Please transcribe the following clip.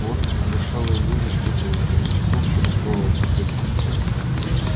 водка надышала илье на стекло за стеклом всё расплывалось теперь